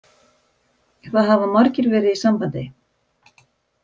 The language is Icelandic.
Það hafa margir verið í sambandi